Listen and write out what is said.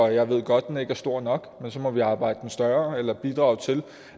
jeg ved godt at den ikke er stor nok men så må vi arbejde den større eller bidrage til